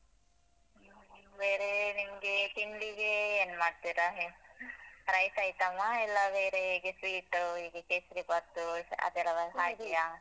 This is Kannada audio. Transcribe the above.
ಹ್ಮ ಬೇರೆ ನಿಮ್ಗೆ ತಿಂಡಿಗೆ ಏನ್ ಮಾಡ್ತಿರ ನೀವ್? rice item ಆ ಇಲ್ಲ ಬೇರೆ ಹೀಗೆ sweet ಉ , ಹೀಗೆ ಕೇಸ್ರಿ ಬಾತು? ಆತರ ಅದ್ ರವ